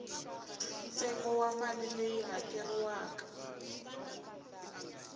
ntsengo wa mali leyi hakeriwaka